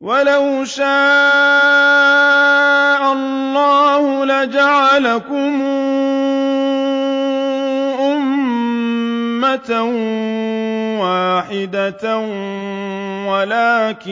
وَلَوْ شَاءَ اللَّهُ لَجَعَلَكُمْ أُمَّةً وَاحِدَةً وَلَٰكِن